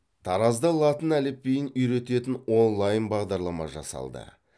таразда латын әліпбиін үйрететін онлайн бағдарлама жасалды